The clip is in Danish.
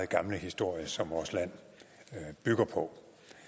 gamle historie som vores land bygger på